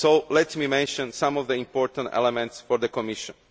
Let me mention some of the important elements for the Commission.